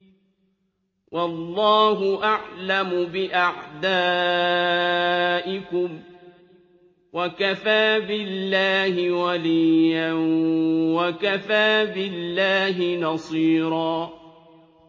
وَاللَّهُ أَعْلَمُ بِأَعْدَائِكُمْ ۚ وَكَفَىٰ بِاللَّهِ وَلِيًّا وَكَفَىٰ بِاللَّهِ نَصِيرًا